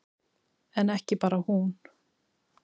En ekki bara hún.